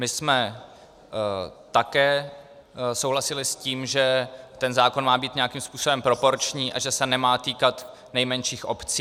My jsme také souhlasili s tím, že ten zákon má být nějakým způsobem proporční a že se nemá týkat nejmenších obcí.